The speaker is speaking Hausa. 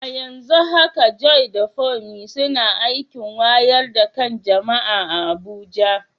A yanzu haka Joy da Funmi suna aikin wayar da kan jama’a a Abuja.